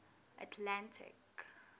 atlantic